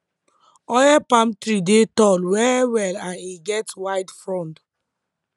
oil palm tree dey tall well well and e get wide frond